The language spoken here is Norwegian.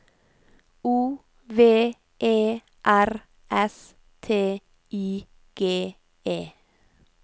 O V E R S T I G E